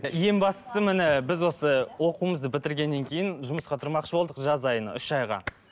ең бастысы міне біз осы оқуымызды бітіргеннен кейін жұмысқа тұрмақшы болдық жаз айына үш айға